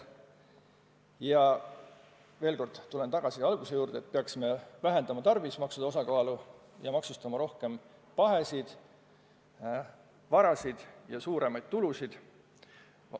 Ja veel kord tulen tagasi alguse juurde: me peaksime vähendama tarbimismaksude osakaalu ja maksustama rohkem pahesid, varasid ja suuremaid tulusid.